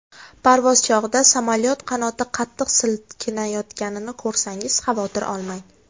Parvoz chog‘ida samolyot qanoti qattiq silkinayotganini ko‘rsangiz, xavotir olmang.